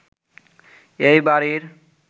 এই বাড়ির